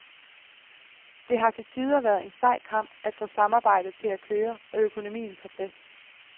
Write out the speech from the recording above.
Det har til tider været en sej kamp at få samarbejdet til at køre og økonomien på plads.